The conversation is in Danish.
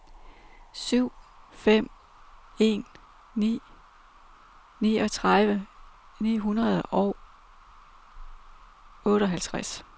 syv fem en ni niogtredive ni hundrede og otteoghalvtreds